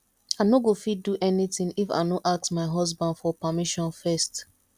i no go fit do anything if i no ask my husband for permission first